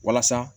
Walasa